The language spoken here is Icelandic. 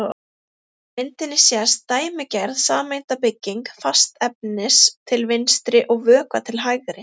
Á myndinni sést dæmigerð sameindabygging fastefnis til vinstri og vökva til hægri.